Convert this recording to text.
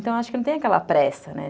Então, eu acho que não tem aquela pressa, né?